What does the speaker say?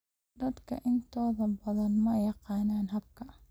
Dadka intooda badan ma yaqaanaan habka.